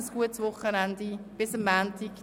Ein gutes Wochenende und bis am Montag!